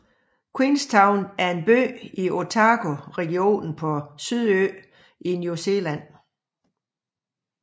Queenstown er en by i Otago regionen på Sydøen i New Zealand